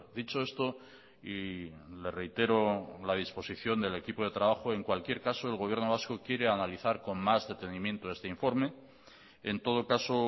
dicho esto y le reitero la disposición del equipo de trabajo en cualquier caso el gobierno vasco quiere analizar con más detenimiento este informe en todo caso